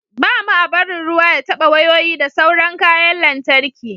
ba mu a barin ruwa ya taba wayoyi da sauran kayan lantarki